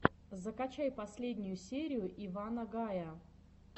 закачай последнюю серию ивана гая